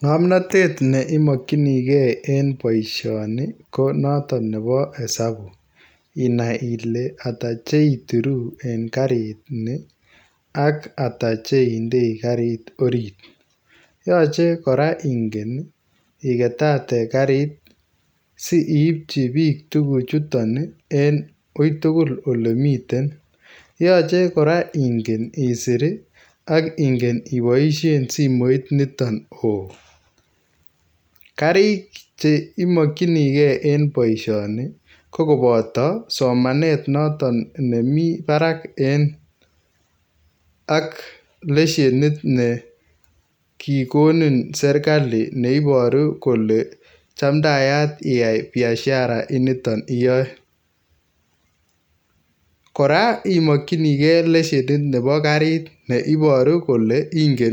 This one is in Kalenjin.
Ngomnotet ne imokyinigee en boisioni konoton nebo esabu inai ile ata tuguk cheituru en karini ak ata cheindei karit orit , yoche koraa inge iketate karinit si ipchibik tuguchuton en uitugul olemiten, yoche koraa inge isir ak ingen iboisien simoiniton oo ,karik chemokyigee kokoboto somanet noton nemi barak en ,ak leshenit nekikonin sirkali neiboru kole chamdaat iyai biashara initon , koraa konyolu itinye leshenit nebo karit neiboru kole inge